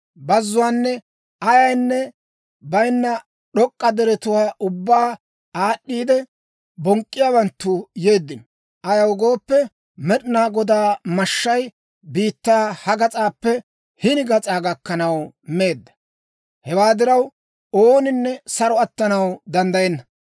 Bazzuwaan ayaynne bayinna d'ok'k'a deretuwaa ubbaa aad'd'iidde, bonk'k'iyaawanttu yeeddino; ayaw gooppe, Med'inaa Godaa mashshay biittaa ha gas'aappe hini gas'aa gakkanaw meedda. Hewaa diraw, ooninne saro attanaw danddayenna.